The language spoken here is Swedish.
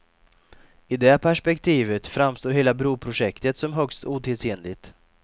I det perspektivet framstår hela broprojektet som högst otidsenligt.